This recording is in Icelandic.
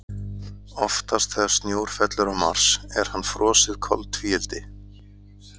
Oftast þegar snjór fellur á Mars er hann frosið koltvíildi.